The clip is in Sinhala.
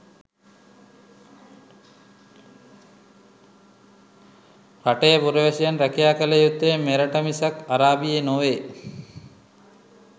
රටේ පුරවැසියන් රැකියා කල යුත්තේ මෙරට මිසක් අරාබියේ නොවේ.